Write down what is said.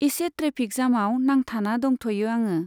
इसे ट्रेफिक जामाव नांथाना दंथ'यो आङो।